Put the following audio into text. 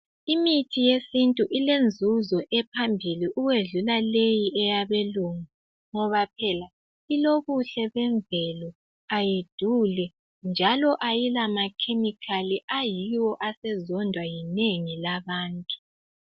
Imithi yesintu ilenzuzo ephambili ukwedlula leyi eyabelungu. Ngoba phela ilibuhle bemvelo, ayiduli njalo ayila makhemikhali ayiwo asezondwa yinengi labantu.